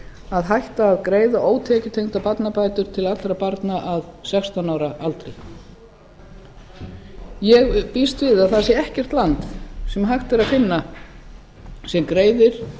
að hætt var að greiða ótekjutengdar barnabætur til allra barna að sextán ára aldri ég býst við að það sé ekkert land sem hægt er að finna sem greiðir